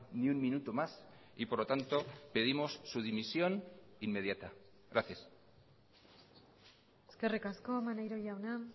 ni un minuto más y por lo tanto pedimos su dimisión inmediata gracias eskerrik asko maneiro jauna